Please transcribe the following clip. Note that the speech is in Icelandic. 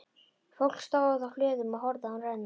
Fólk stóð á hlöðum og horfði á hana renna hjá.